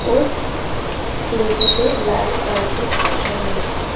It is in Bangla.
ওস সিড়িটিতে লাল কার্পেট পাতা রয়েছে।